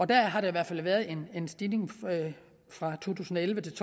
der har der i hvert fald været en stigning fra to tusind og elleve til